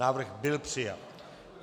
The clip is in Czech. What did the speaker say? Návrh byl přijat.